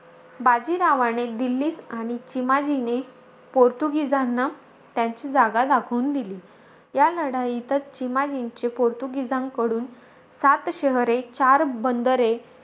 बाजीरावाने दिल्लीत आणि चिमाजीने पोर्तुगीजांना, त्यांची जागा दाखवून दिली. या लढाईतचं चिमाजींचे, पोर्तुगीजांकडून सात शहरे, चार बंदरे,